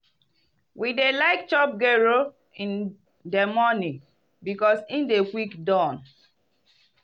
we dey like chop gero in di morning because e dey quick don.